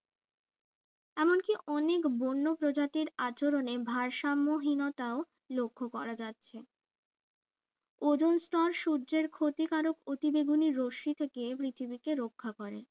এমনকি অনেক বন্য প্রজাতির আচরণে ভারসাম্যহীনতাও লক্ষ্য করা যাচ্ছে ওজোন স্তর সূর্যের ক্ষতিকারক অতিবেগুনি রশ্মি থেকে পৃথিবীকে রক্ষা করে